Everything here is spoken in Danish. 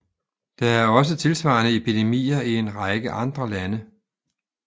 Der er også tilsvarende epidemier i en række andre lande